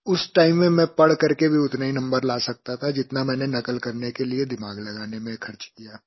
उस टाइम में मैं पढ़ करके भी उतने ही नंबर ला सकता था जितना मैंने नक़ल करने के लिए दिमाग लगाने में ख़र्च किया